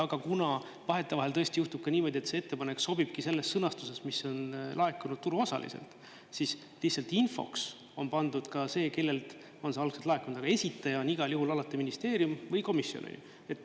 Aga kuna vahetevahel tõesti juhtub ka niimoodi, et see ettepanek sobibki selles sõnastuses, mis on laekunud turuosaliselt, siis lihtsalt infoks on pandud ka see, kellelt on see algselt laekunud, aga esitaja on igal juhul alati ministeerium või komisjon.